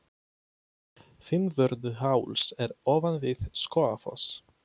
Fimmvörðuháls er ofan við Skógafoss.